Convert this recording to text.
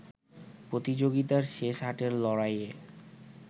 প্রতিযোগিতার শেষ আটের লড়াইয়ে